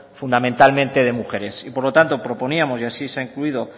fundamentalmente de mujeres por lo tanto proponíamos y así se ha incluido